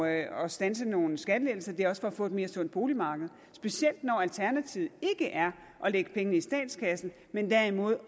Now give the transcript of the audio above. at at standse nogle skattelettelser det er også at få et mere sundt boligmarked specielt når alternativet ikke er at lægge pengene i statskassen men derimod